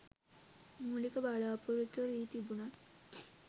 මූලික බලාපොරොත්තුව වී තිබුණත්